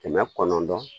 Kɛmɛ kɔnɔntɔn